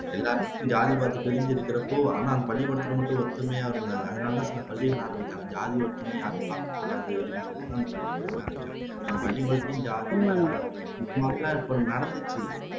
எல்லாரும் ஜாதி பாத்து பிரிஞ்சிருக்கிறப்போ ஆனா அந்த பள்ளிக்கூடத்துல மட்டும் ஒற்றுமையா இருந்தாங்க அதனாலதான் ஜாதி வேற்றுமைய யாரும் பாக்ககூடாது அப்படின்னு சொல்லித்தான் அந்த பள்ளிகூடத்தையே ஆரம்பிச்சாங்க பள்ளிகூடத்துலேயும் ஜாதி மதம் அதெல்லாம் இப்போ நடந்துச்சு